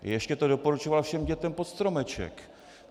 Ještě to doporučoval všem dětem pod stromeček.